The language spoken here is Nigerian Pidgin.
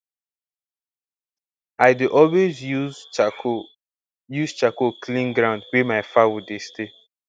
i dey always use charcoal use charcoal clean ground wey my fowl dey stay